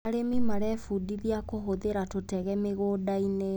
Arĩmi marebundithia kũhũthĩra tũtege mĩgũndainĩ.